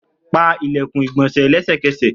Pa ilẹkun igbonse lẹsẹkẹsẹ!